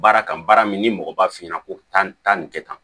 Baara kan baara min ni mɔgɔ b'a f'i ɲɛna ko tan nin kɛ tan